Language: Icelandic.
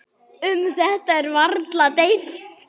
Um þetta er varla deilt.